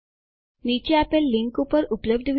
નીચે આપેલ લીનક ઉપર ઉપલબ્ધ વિડીઓ જુઓ